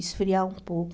Esfriar um pouco.